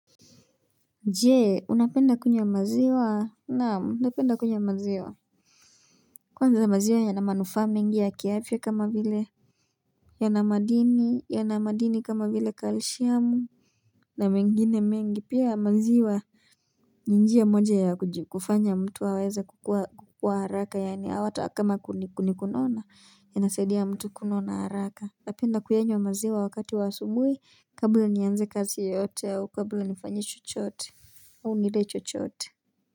Jee, unapenda kunywa maziwa? Naam, napenda kunywa maziwa. Kwanza maziwa yana manufaa mengi ya kiafya kama vile. Yana madini kama vile calcium na mengine mengi, pia maziwa. Ni njia moja ya kufanya mtu waweza kukua haraka, yaani hata kama kuna kunona, ianasaidi mtu kunona haraka. Unapenda kuyanywa maziwa wakati wa asubuhi, kabla nianze kazi yoyote, au kabla nifanye chochote au nile chochote.